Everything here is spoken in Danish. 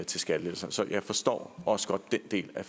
til skattelettelser så jeg forstår også godt den del af